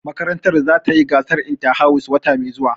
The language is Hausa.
Makarantar za ta yi gasar inta-house wata mai zuwa